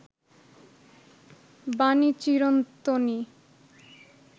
বাণী চিরন্তনী